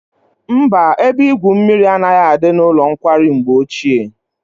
Mba, ebe igwu mmiri anaghị adị n'ụlọ nkwari mgbe ochie.